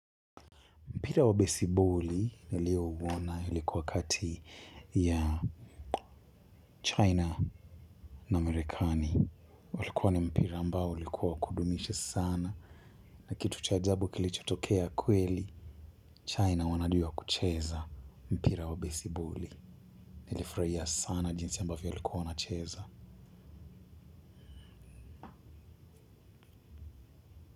Mpira wa besiboli nilio uona ilikuwa kati ya China na marekani. Ulikuwa ni mpira ambao ulikuwa wa kudumisha sana. Na kitu cha ajabu kilichotokea kweli, China wanajuwa kucheza mpira wa besiboli. Nilifurahia sana jinsi ambavyo walikuwa wana cheza.